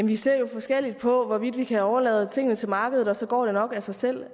vi ser jo forskelligt på hvorvidt vi kan overlade tingene til markedet og så går det nok af sig selv